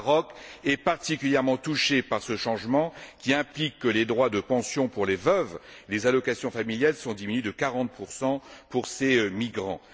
Le Maroc est particulièrement touché par ce changement, qui implique que les droits de pension pour les veuves et les allocations familiales sont diminués de 40 pour ces migrants.